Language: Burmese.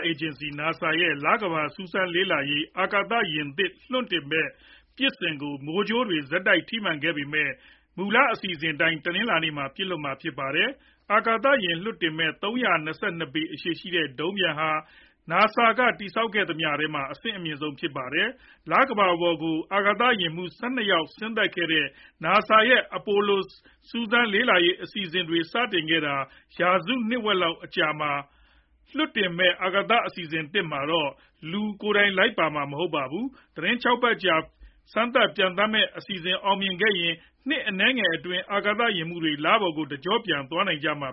အေဂျင်စီ (NASA) ရဲ့ လကမ္ဘာစူးစမ်းလေ့လာရေး အာကာသယာဉ်သစ် လွှတ်တင်မယ့် ပစ်စင်ကို မိုးကြိုးတွေ ဆက်တိုက် ထိမှန်ခဲ့ပေမဲ့ အစီအစဉ်အတိုင်း တနင်္လာနေ့မှာ ပစ်လွှတ်မှာ ဖြစ်ပါတယ်။ အာကာသယာဉ် လွှတ်တင်မယ့် ၃၂၂ ပေ အရှည်ရှိတဲ့ ဒုံးပျံဟာ NASA က တည်ဆောက်ခဲ့သမျှထဲမှာ အဆင့်အမြင့်ဆုံး ဖြစ်ပါတယ်။ လကမ္ဘာပေါ်ကို အာကာသယာဉ်မှူး ၁၂ ယောက် ဆင်းသက်ခဲ့တဲ့ NASA ရဲ့ အပိုလို စူးစမ်းလေ့လာရေး အစီအစဉ်တွေ စတင်ခဲ့တာ ရာစုဝက်လောက် အကြာမှာ လွှတ်တင်မယ့် အာကာသယာဉ်သစ်မှာတော့ လူကိုယ်တိုင်လိုက်ပါမှာ မဟုတ်ပါဘူး။ သီတင်း ၆ ပတ်ကြာ စမ်းသပ်ပျံသန်းမယ့် အစီအစဉ် အောင်မြင်ခဲ့ရင်တော့ နှစ်အနည်းငယ်အတွင်း အာကာသယာဉ်မှူးတွေ လပေါ်ကို တကျော့ပြန် သွားနိုင်ကြမှ